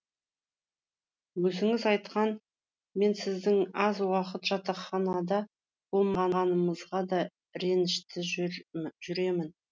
өзіңіз айтқан мен сіздің аз уақыт жатақханада болмағаныңызға да ренішті жүремін